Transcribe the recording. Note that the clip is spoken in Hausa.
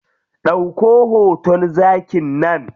Ɗauko hoton zakin nan.